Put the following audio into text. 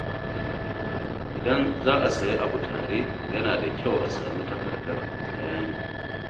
Idan za a sayi abu tare, yana da kyau a sami takardar bayani.